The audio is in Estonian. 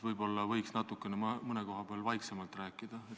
Võib-olla võiks mõne koha peal natuke vaiksemalt rääkida.